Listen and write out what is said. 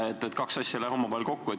Need kaks asja ei lähe omavahel kokku.